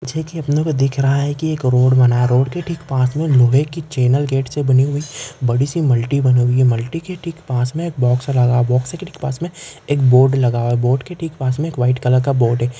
जे की अपने को दिख रहा है की एक रोड बना रोड के ठीक पास मे नॉवेल की चैनल गेट से बनी हुई बडीसी मल्टी बनी हुई है मल्टी के ठीक पास मे एक बॉक्स लगा बॉक्स के ठीक पास मे एक बोर्ड लगा हुआ है बोर्ड के ठीक पास मे एक व्हाइट कलर का बोर्ड हैं।